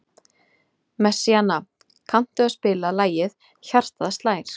Messíana, kanntu að spila lagið „Hjartað slær“?